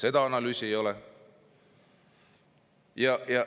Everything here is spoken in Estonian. Seda analüüsi ei ole.